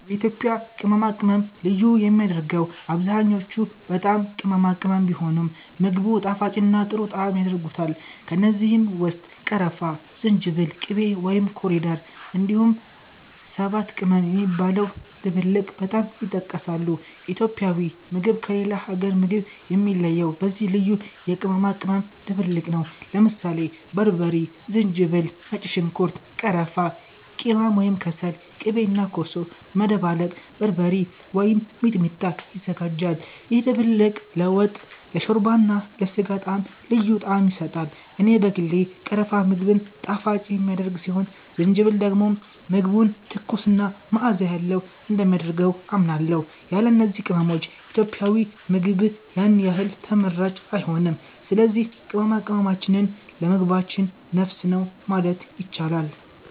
የኢትዮጵያ ቅመማ ቅመም ልዩ የሚያደርገው አብዛኛዎቹ በጣም ቅመማ ቅመም ቢሆኑም፣ ምግቡን ጣፋጭና ጥሩ ጣዕም ያደርጉታል። ከእነዚህ ውስጥ ቀረፋ፣ ዝንጅብል፣ ቂቤ (ኮሪደር)፣ እንዲሁም ሰባት ቅመም የሚባለው ድብልቅ በጣም ይጠቀሳሉ። ኢትዮጵያዊ ምግብ ከሌላ አገር ምግብ የሚለየው በዚህ ልዩ የቅመማ ቅመም ድብልቅ ነው። ለምሳሌ በርበሬ፣ ዝንጅብል፣ ነጭ ሽንኩርት፣ ቀረፋ፣ ቂማም (ከሰል)፣ ቂቤ እና ኮሶ በመደባለቅ “በርበሬ” ወይም “ሚጥሚጣ” ይዘጋጃል። ይህ ድብልቅ ለወጥ፣ ለሾርባ እና ለስጋ ጣዕም ልዩ ጣዕም ይሰጣል። እኔ በግሌ ቀረፋ ምግብን ጣፋጭ የሚያደርግ ሲሆን ዝንጅብል ደግሞ ምግቡን ትኩስ እና መዓዛ ያለው እንደሚያደርግ አምናለሁ። ያለ እነዚህ ቅመሞች ኢትዮጵያዊ ምግብ ያን ያህል ተመራጭ አይሆንም። ስለዚህ ቅመማ ቅመማችን ለምግባችን ነፍስ ነው ማለት ይቻላል።